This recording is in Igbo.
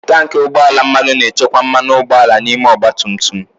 Tanki ugbọ ala mmanụ na-echekwa mmanụ ụgbọala n'ime ọgba tum tum.